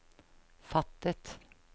fattet